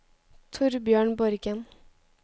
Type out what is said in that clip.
Torbjørn Borgen